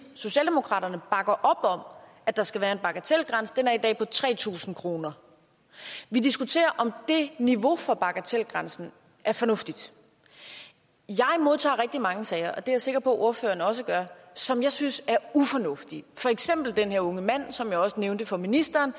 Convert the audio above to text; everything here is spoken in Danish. socialdemokraterne bakker op om at der skal være en bagatelgrænse og den er i dag på tre tusind kroner vi diskuterer om niveauet for bagatelgrænsen er fornuftigt jeg modtager rigtig mange sager og det er jeg sikker på ordføreren også gør som jeg synes er ufornuftige for eksempel den unge mand som jeg også nævnte for ministeren